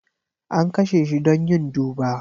An kashe shi don yin duba.